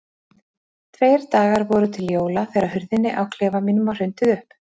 Tveir dagar voru til jóla þegar hurðinni á klefa mínum var hrundið upp.